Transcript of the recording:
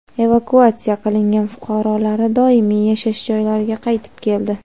Evakuatsiya qilingan fuqarolari doimiy yashash joylariga qaytib keldi.